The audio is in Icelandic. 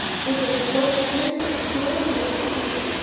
Yrði það ekki stórslys að klúðra því að komast upp núna?